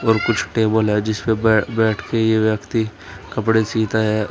और कुछ टेबल है जिस पर बैठकर यह व्यक्ति कपड़े सीता है।